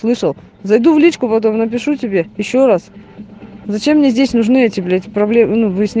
слышал зайду в личку потом напишу тебе ещё раз зачем мне здесь нужны эти блять